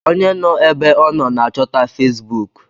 Onye nọ ébé ọ nọ n'achọta Fesbụụk.